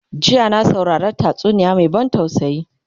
jiya na saurari tatsuniya Mai ban tausayi